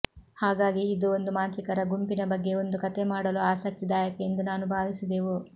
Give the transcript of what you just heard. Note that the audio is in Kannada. ಹಾಗಾಗಿ ಇದು ಒಂದು ಮಾಂತ್ರಿಕರ ಗುಂಪಿನ ಬಗ್ಗೆ ಒಂದು ಕಥೆ ಮಾಡಲು ಆಸಕ್ತಿದಾಯಕ ಎಂದು ನಾನು ಭಾವಿಸಿದೆವು